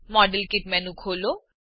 model kit menu ખોલો